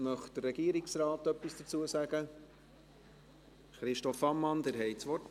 Möchte der Regierungsrat etwas sagen? – Christoph Ammann, Sie haben das Wort.